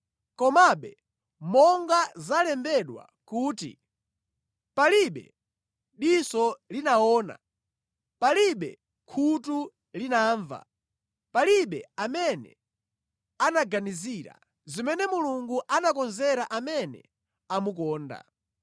Komabe monga zalembedwa kuti, “Palibe diso linaona, palibe khutu linamva, palibe amene anaganizira, zimene Mulungu anakonzera amene amukonda”